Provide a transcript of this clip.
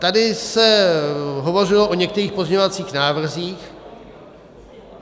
Tady se hovořilo o některých pozměňovacích návrzích.